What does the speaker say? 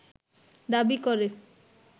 দাবি করে